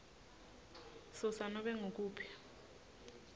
susa nobe ngukuphi